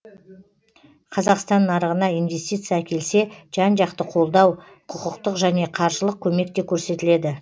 қазақстан нарығына инвестиция әкелсе жан жақты қолдау құқықтық және қаржылық көмек те көрсетіледі